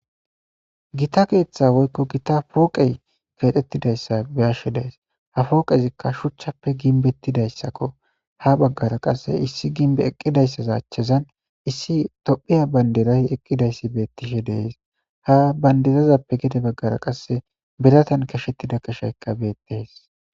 Gita keeththa woykko gita pooqey keexettidayssa beyashe dees ha fooqezikka shuchchappe ginbettidayssakko ha baggara qasse issi ginbe eqqidayssaza achchezan issi tophiya bandiray eqqidayssi bettishe dees ha bandirazappe gede baggara qasse biratan kashettida qeshaykka beettes